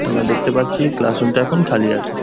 তো আমরা দেখতে পাচ্ছি ক্লাস রুমটা এখন খালি আছে।